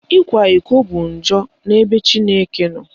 Ịkwa iko bụ njọ n'ebe Chineke nọ.